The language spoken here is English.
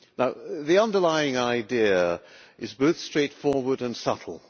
Now the underlying idea is both straightforward and subtle.